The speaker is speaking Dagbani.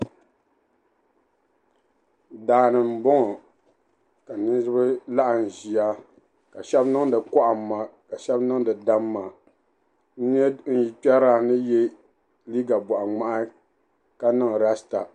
Daa ni m-bɔŋɔ ka niriba laɣim ʒia ka shɛba niŋdi kɔhimma ka shɛba niŋdi damma. N nya n yikpɛrilana ni ye liiga bɔɣiŋmahi ka niŋ lasita.